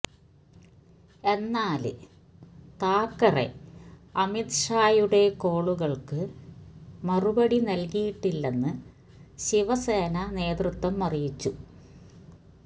എന്നാല് താക്കറെ അമിത്ഷായുടെ കോളുകള്ക്ക് മറുപടി നല്കിയിട്ടില്ലെന്ന് ശിവസേന നേതൃത്വം അറിയിച്ചു